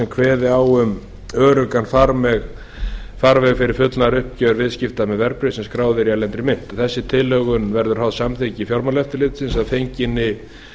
kveði á um öruggan farveg fyrir fullnaðaruppgjör viðskipta með verðbréf sem skráð eru í erlendri mynt þessi tilhögun verður háð samþykki fjármálaeftirlitsins að fenginni